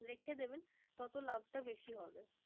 রেখে দেবে তত লাভটা বেশি হবে